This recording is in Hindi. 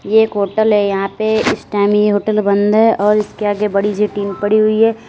एक होटल है यहां पे इस टाइम ये होटल बंद और इसके आगे बड़ी सी टीन पड़ी हुई है।